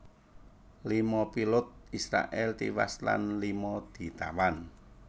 Lima pilot Israèl tiwas lan lima ditawan